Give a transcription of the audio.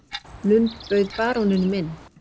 Lund bauð baróninum inn.